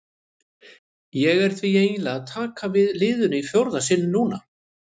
Ég er því eiginlega að taka við liðinu í fjórða sinn núna.